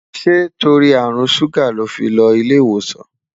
ṣé torí àrùn ṣuga ló fí ló ilé ìwòsàn?